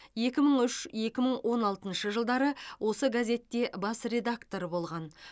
екі мың үш екі мың он алтыншы жылдары осы газетте бас редактор болған